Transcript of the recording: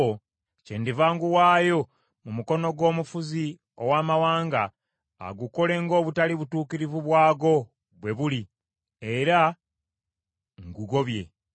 kyendiva nguwaayo mu mukono gw’omufuzi ow’amawanga agukole ng’obutali butuukirivu bwagwo bwe buli, era ngugobye.